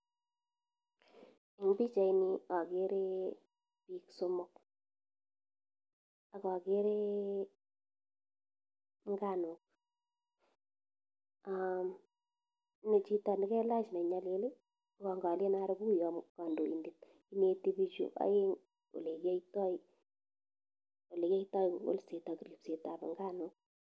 Eng pichait yuu akeree piik somok akakeree nganuk mii chito nee kelach nee nyalil ngalen aroo koo kandoindet ineti pichu aeng olekiatai kolset ak ribset ab nganuk